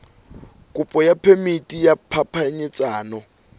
kopo ya phemiti ya phapanyetsano